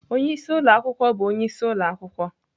Onye isi ụlọ akwụkwọ bụ onye isi ụlọ akwụkwọ.